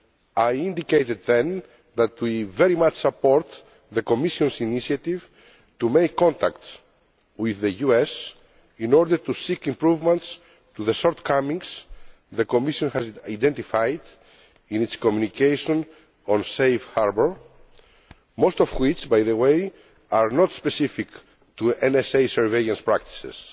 I indicated then that we very much support the Commission's initiative to make contacts with the US in order to seek improvements to the shortcomings the Commission has identified in its Communication on Safe Harbour, most of which by the way are not specific to NSA surveillance practices.